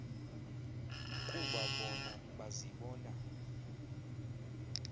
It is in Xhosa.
kuba bona bazibona